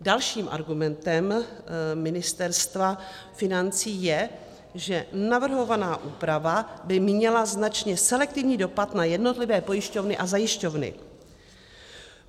Dalším argumentem Ministerstva financí je, že navrhovaná úprava by měla značně selektivní dopady na jednotlivé pojišťovny a zajišťovny.